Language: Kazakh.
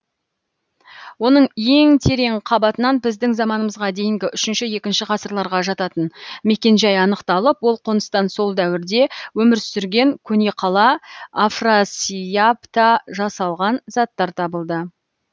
оның ең терең қабатынан біздің заманымызға дейінгі үшінші екінші ғасырларға жататын мекен жай анықталып ол қоныстан сол дәуірде өмір сүрген көне қала афрасиябта жасалған заттар табылды